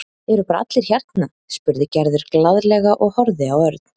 Eru bara allir hérna? spurði Gerður glaðlega og horfði á Örn.